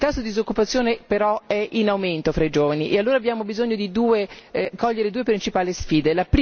Il tasso di disoccupazione però è in aumento fra i giovani e allora abbiamo bisogno di cogliere due principali sfide.